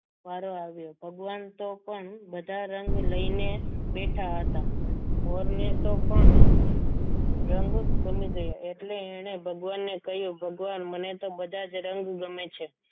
મારુ વારો આવ્યો ભગવાન તો પણ બધા રંગ લઈને બેઠા હતા મોરને તો પણ રંગ ગમી ગયો એટલે એને ભગવાનને કહ્યું મને ભગવાન મને તો બધા જ રંગ ગમે છે.